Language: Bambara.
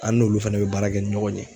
An n'olu fɛnɛ bɛ baara kɛ ni ɲɔgɔn ye.